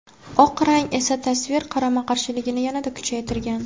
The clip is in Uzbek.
Oq rang esa tasvir qarama-qarshiligini yanada kuchaytirgan.